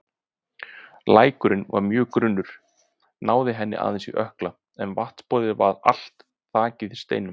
Lækurinn var mjög grunnur, náði henni aðeins í ökkla en vatnsborðið var allt þakið steinum.